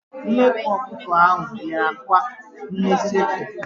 Nnekwu ọkụkọ ahụ yiri àkwà n'ụsekwu.